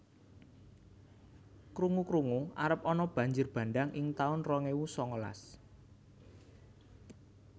Krungu krungu arep ana banjir bandhang ing taun rong ewu sangalas